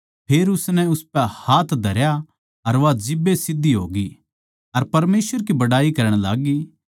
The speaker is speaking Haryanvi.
फेर उसनै उसपै हाथ धरया अर वा जिब्बे सीध्धी होगी अर परमेसवर की बड़ाई करण लाग्गी